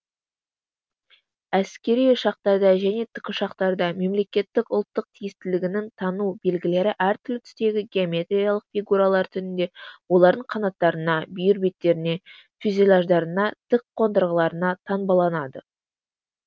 әскери ұшақтарда және тікұшақтарда мемлекеттік ұлттық тиістілігінің тану белгілері әр түрлі түстегі геометриялық фигуралар түрінде олардың қанаттарына бүйір беттеріне фюзеляждарына тік қондырғыларына таңбаланады